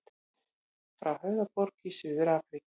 Frá Höfðaborg í Suður-Afríku.